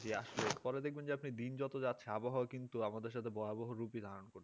যে আসছো পরে যদি দেখবেন যে দিন যত যাচ্ছে আবহাওয়া কিন্তু আমাদের সাথে বহাবহহু রুপী ধারণ করেছেন রাখছে